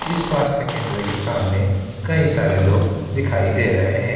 इस स्वास्थ केंद्र के सामने कई सारे लोग दिखाई दे रहे हैं।